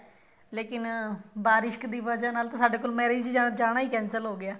ਤੇ ਬਾਰਿਸ਼ ਦੀ ਵਜਾਹ ਨਾਲ ਤਾਂ ਸਾਡੇ ਕੋਲ marriage ਜਾਣਾ ਹੀ cancel ਹੋਗਿਆ